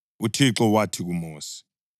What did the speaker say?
UThixo wathi kuMosi,